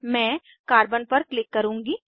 मैं कार्बन पर क्लिक करुँगी